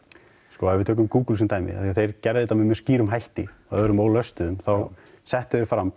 sko ef við tökum Google sem dæmi því þeir gerðu þetta með mjög skýrum hætti að örðum ólöstuðum þá settu þeir fram